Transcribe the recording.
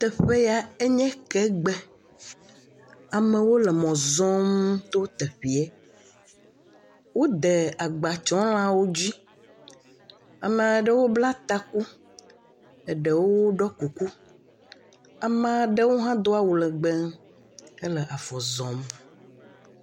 Teƒe ya nye ke gbe. Amewo le mɔ zɔm to teƒea, wode agbatsɔlãwo dzi. Ame aɖewo bla taku, ɖewo ɖɔ kuku. Ame aɖewo hã do awu legbẽ hele zɔzɔm.